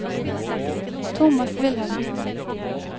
Tomas Wilhelmsen